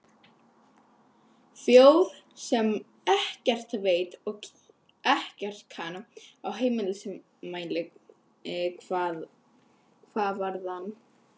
Þjóð sem ekkert veit og ekkert kann á heimsmælikvarðann.